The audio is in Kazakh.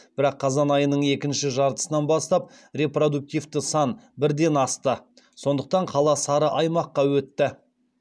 бірақ қазан айының екінші жартысынан бастап репродуктивті сан бірден асты сондықтан қала сары аймаққа өтті